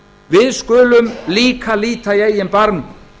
við skulum líka líta í eigin barm